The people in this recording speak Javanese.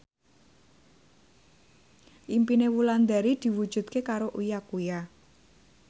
impine Wulandari diwujudke karo Uya Kuya